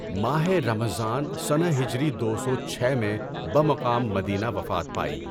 ماہِ رمضان سنہ ہجری دو سو چھ میں بمقام مدینہ وفات پائی۔